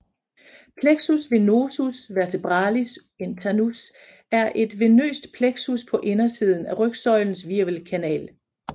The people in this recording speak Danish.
Plexus venosus vertebralis internus er et venøst plexus på indersiden af rygsøjlens hvirvelkanal